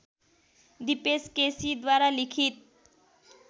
दिपेश केसीद्वारा लिखित